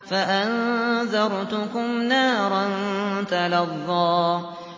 فَأَنذَرْتُكُمْ نَارًا تَلَظَّىٰ